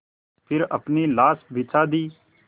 फिर अपनी लाश बिछा दी